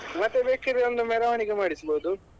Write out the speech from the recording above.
ಮತ್ತೇ ಬೇಕಿದ್ರೆ ಒಂದು ಮೆರವಣಿಗೆ ಮಾಡಿಸ್ಬೋದು.